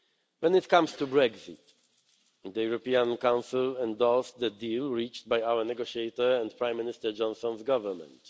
When it comes to Brexit, the European Council endorsed the deal reached by our negotiator and Prime Minister Johnson's Government.